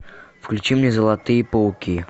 включи мне золотые пауки